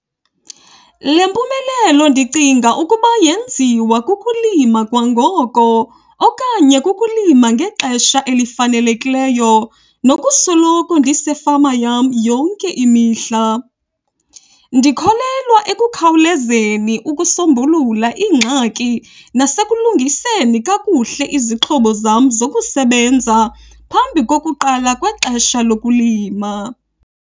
Le mpumelelo ndicinga ukuba yenziwe kukulima kwangoko okanye kukulima ngexesha elifanelekileyo nokusoloko ndisefama yam yonke imihla. Ndikholelwa ekukhawulezeni ukusombulula iingxaki nasekuzilungiseni kakuhle izixhobo zam zokusebenza phambi kokuqala kwexesha lokulima.